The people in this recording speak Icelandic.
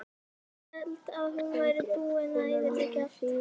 Hélt að þú værir búinn að eyðileggja allt.